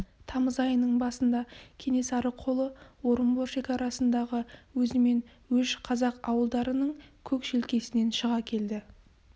тамыз айының басында кенесары қолы орынбор шекарасындағы өзімен өш қазақ ауылдарының көк желкесінен шыға келді